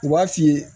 U b'a f'i ye